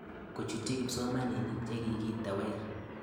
Kochutchi kipsomanik che kiketewer